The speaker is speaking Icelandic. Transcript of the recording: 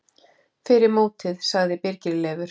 Fyrir mótið sagði Birgir Leifur.